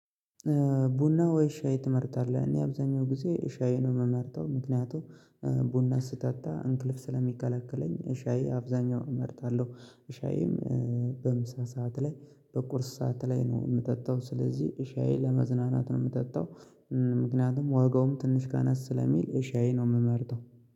ቡና ወይ ሻይ ትመርጣለህ? እኔ አብዛኛው ጊዜ ሻይ ነው ምመርጠው ምክንያቱም ቡና ስጠጣ እንቅልፍ ስለሚከለክለኝ ሻይ አብዛኛው እመርጣለሁ። ሻይም በምሳ ሰዓት ላይ በቁርስ ሰዓት ላይ ነው ምጠጣው። ስለዚህ እሻዬ ለመዝናናት ነው ምጠጣው። ምክንያቱም ዋጋውም ትንሽ ቀነስ ስለሚል ሻይ ነው ምመርጠው።